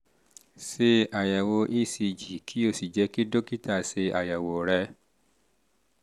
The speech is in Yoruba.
ṣe àyẹ̀wò ecg kí o sì jẹ́ kí dókítà ṣe àyẹ̀wò ṣe àyẹ̀wò rẹ